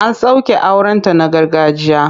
An soke aurenta na gargajiya.